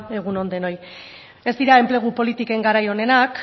egun on denoi ez dira enplegu politiken garai onenak